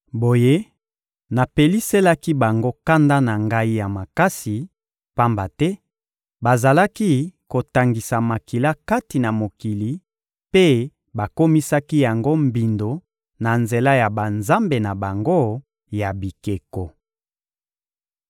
Boye, napeliselaki bango kanda na Ngai ya makasi, pamba te bazalaki kotangisa makila kati na mokili mpe bakomisaki yango mbindo na nzela ya banzambe na bango ya bikeko.